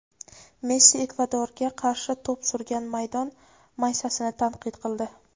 Messi Ekvadorga qarshi to‘p surgan maydon maysasini tanqid qildi.